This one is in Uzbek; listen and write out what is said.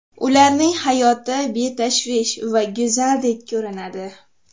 Ularning hayoti betashvish va go‘zaldek ko‘rinadi.